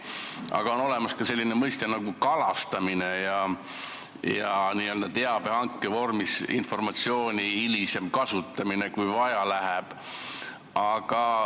Aga on olemas ka selline mõiste nagu "kalastamine" ja teabehanke vormis saadud informatsiooni hilisem kasutamine, kui vaja läheb.